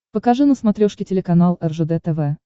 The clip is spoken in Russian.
покажи на смотрешке телеканал ржд тв